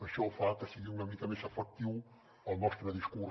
això fa que sigui una mica més efectiu el nostre discurs